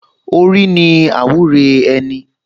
Orí ni àwúre ẹni